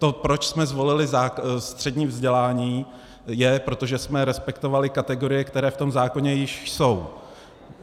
To, proč jsme zvolili střední vzdělání, je, protože jsme respektovali kategorie, které v tom zákoně již jsou.